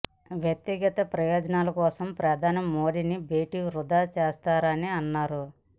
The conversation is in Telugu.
వ్యక్తిగత ప్రయోజనాల కోసం ప్రధాని మోదీతో భేటీనీ వృథా చేశారని అన్నారు